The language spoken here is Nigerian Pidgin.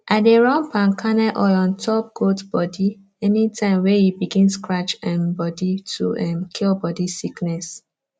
i dey run palm kernel oil on top goat body anytime wey e begin scratch um body to um cure body sickness